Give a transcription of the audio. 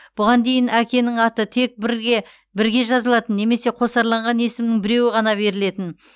бұған дейін әкенің аты тек бірге бірге жазылатын немесе қосарланған есімнің біреуі ғана берілетін